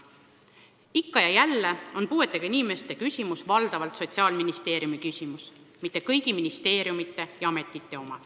Ikka ja jälle on puuetega inimeste küsimus valdavalt Sotsiaalministeeriumi küsimus, mitte kõigi ministeeriumide ja ametite oma.